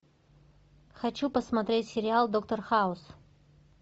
хочу посмотреть сериал доктор хаус